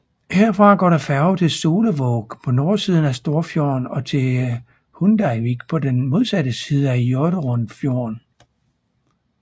Herfra går der færge til Solevåg på nordsiden af Storfjorden og til Hundeivik på den modsatte side af Hjørundfjorden